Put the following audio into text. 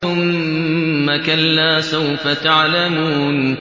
ثُمَّ كَلَّا سَوْفَ تَعْلَمُونَ